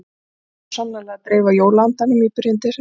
Svona á svo sannarlega að dreifa jóla-andanum í byrjun desember.